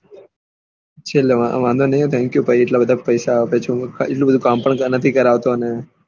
વાંધો નહી હા thank you ભાઈ એટલા બધા પેસા આપું કચું ને એટલા બધા કામ પણ નહી કરાવતા